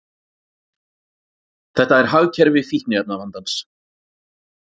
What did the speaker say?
Þetta er hagkerfi fíkniefnavandans.